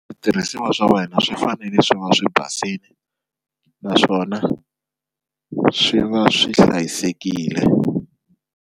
Switirhisiwa swa wena swi fanele swi va swi basini naswona swi va swi hlayisekile.